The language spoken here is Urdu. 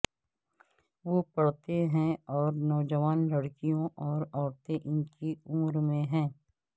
وہ پڑھتے ہیں اور نوجوان لڑکیوں اور عورتیں ان کی عمر میں ہیں